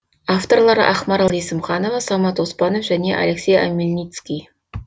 авторлары ақмарал есімханова самат оспанов және алексей омельницкий